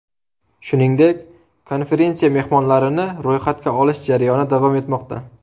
Shuningdek, konferensiya mehmonlarini ro‘yxatga olish jarayoni davom etmoqda.